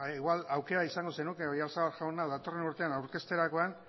igual aukera izango zenuke oyarzabal jauna datorren urtean aurkezterakoan